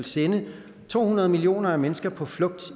sende to hundrede millioner mennesker på flugt